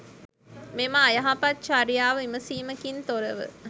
මෙම අයහපත් චර්යාව විමසීමකින් තොරව